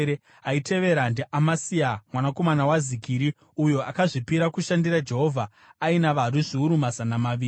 aitevera ndiAmasia mwanakomana waZikiri, uyo akazvipira kushandira Jehovha, aina varwi zviuru mazana maviri.